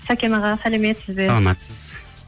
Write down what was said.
сәкен аға сәлеметсіз бе саламатсыз